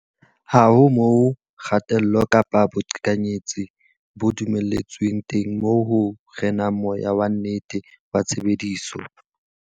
Ha ho moo kgatello kapa boqhekanyetsi bo dumelletsweng teng moo ho renang moya wa nnete wa tshebedisano.